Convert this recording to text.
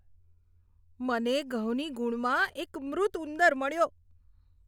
મને ઘઉંની ગુણમાં એક મૃત ઉંદર મળ્યો.